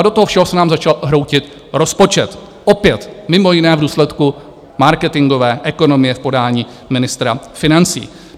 A do toho všeho se nám začal hroutit rozpočet, opět mimo jiné v důsledku marketingové ekonomie v podání ministra financí.